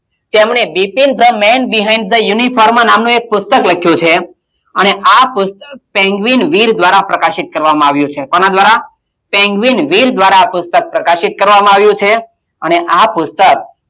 તેમણે Bipin the men behind the uniform નામનું એક પુસ્તક લખ્યું છે અને આ પુસ્તક સેનવીન વીર દ્વારાં પ્રકાશિત કરવામાં આવ્યું છે. કોનાં દ્વારાં? સેનવીન વીર દ્વારાં આ પુસ્તક પ્રકાશિત કરવામાં આવ્યું છે. અને આ પુસ્તક,